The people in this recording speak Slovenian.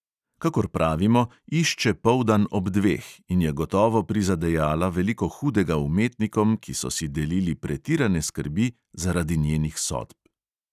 Kakor pravimo, išče poldan ob dveh, in je gotovo prizadejala veliko hudega umetnikom, ki so si delili pretirane skrbi zaradi njenih sodb.